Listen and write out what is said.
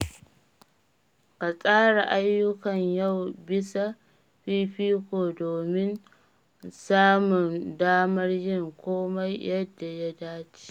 Ka tsara ayyukan yau bisa fifiko domin samun damar yin komai yadda ya dace.